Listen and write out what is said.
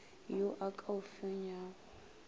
yo a ka o fenyago